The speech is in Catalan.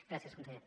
gràcies conseller